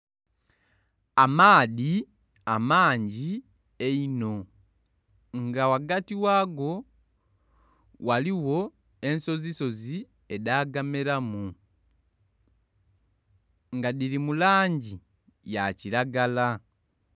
Amaadhi amangi einho nga ghagati ghago ghaligho ensozi sozi edha gameramu nga dhiri mu langi ya kiragala.